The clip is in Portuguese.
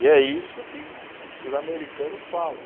E é isso que os americanos falam.